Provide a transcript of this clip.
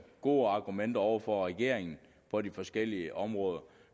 gode argumenter over for regeringen på de forskellige områder